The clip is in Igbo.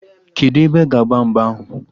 Kedụ ebe a ga agba mgba ahụ?